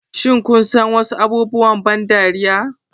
Shin kun san wasu abubuwan ban dariya?